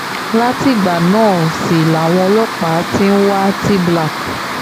látìgbà náà sì làwọn ọlọ́pàá ti ń wa tblak